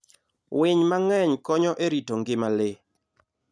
Winy mang'eny konyo e rito ngima le.